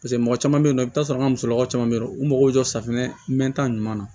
Paseke mɔgɔ caman bɛ yen nɔ i bɛ t'a sɔrɔ an ka musolakaw caman bɛ yen nɔ u mago bɛ jɔ safunɛ mɛnta ɲuman na